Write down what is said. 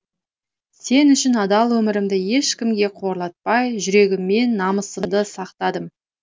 сен үшін адал өмірімді ешкімге қорлатпай жүрегіммен намысымды сақтадым